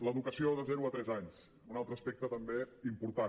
l’educació de zero a tres anys un altre aspecte també important